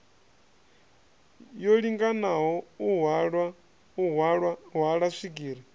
yo linganaho u hwala swigiri